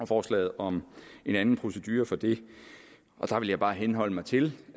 forslag om en anden procedure for det og der vil jeg bare henholde mig til